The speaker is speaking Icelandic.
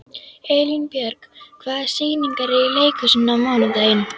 Elínbjörg, hvaða sýningar eru í leikhúsinu á mánudaginn?